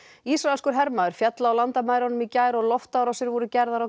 ísraelskur hermaður féll á landamærunum í gær og loftárásir voru gerðar á